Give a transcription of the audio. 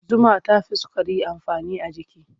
Zuma ta fi sukari amfani a jiki.